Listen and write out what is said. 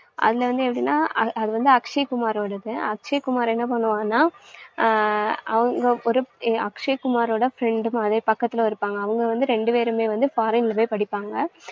அதுல வந்து எப்படின்னா அ~அது வந்து அக்ஷய் குமாரோடது. அக்ஷய் குமார் என்ன பண்ணுவானா, ஹம் அவங்க ஒரு அக்ஷய் குமாரோட friend மாதிரியே பக்கத்துல இருப்பாங்க. அவங்க வந்து ரெண்டு பேருமே வந்து foreign ல போய் படிப்பாங்க.